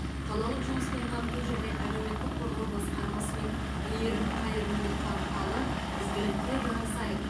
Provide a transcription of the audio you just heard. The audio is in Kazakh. қалалық жұмыспен қамту және әлеуметтік қорғау басқармасы мен мейірім қайырымдылық порталы ізгілікте жарысайық